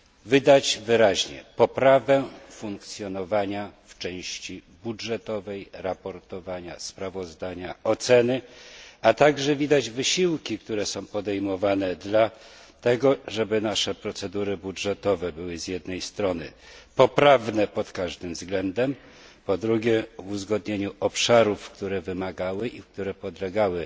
widać wyraźnie poprawę funkcjonowania w części budżetowej, raportowania, sprawozdania, oceny, a także widać wysiłki, które są podejmowane dla tego, żeby nasze procedury budżetowe były z jednej strony poprawne pod każdym względem, po drugie w uzgodnieniu obszarów, które wymagały i które podlegały